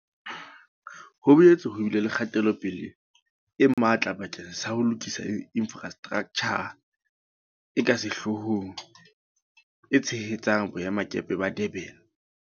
Ho boetse ho bile le kgatelopele e matla bakeng sa ho lokisa infrastraktjha e ka sehloohong e tshehetsang Boemakepe ba Durban.